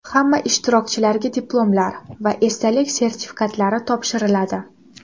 Hamma ishtirokchilarga diplomlar va esdalik sertifikatlari topshiriladi.